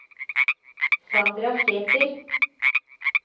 Sandra Sæther